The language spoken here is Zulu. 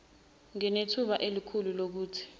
nginethemba elikhulu lokuthi